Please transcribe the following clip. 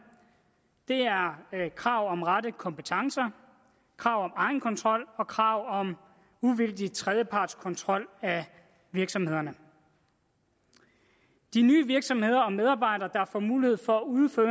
det er krav om rette kompetencer krav om egenkontrol og krav om uvildig tredjeparts kontrol af virksomhederne de nye virksomheder og medarbejdere der får mulighed for at udføre